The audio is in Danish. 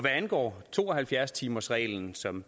angår to og halvfjerds timersreglen som